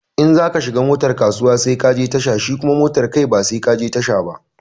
In za ka shiga motar kasuwa sai ka je tasha shi kuma motar kai ba sai ka je tasha ba.